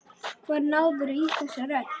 Hvar náðirðu í þessa rödd?